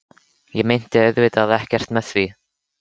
Ég meinti auðvitað ekkert með því.